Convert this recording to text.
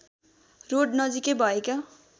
road नजिकै भएका